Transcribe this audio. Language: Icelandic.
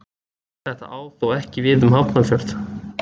Þetta á þó ekki við um Hafnarfjörð.